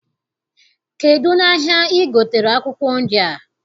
Kedụ n'ahịa I gotere akwụkwọ nri a?